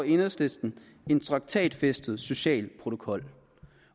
enhedslisten en traktatfæstet social protokol